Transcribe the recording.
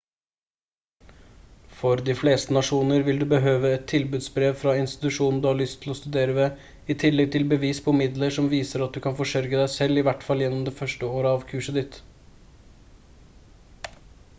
for de fleste nasjoner vil du behøve et tilbudsbrev fra institusjonen du har lyst til å studere ved i tillegg til bevis på midler som viser at du kan forsørge deg selv i hvert fall gjennom det 1. året av kurset ditt